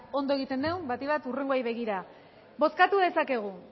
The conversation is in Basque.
ondo egiten dugun batik bat hurrengoei begira bozkatu dezakegu